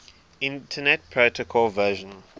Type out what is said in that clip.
internet protocol version